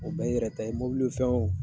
O bɛɛ y'i yɛrɛ ta ye mobili fɛn o